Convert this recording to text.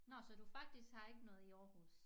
Nå så du faktisk har ikke noget i Aarhus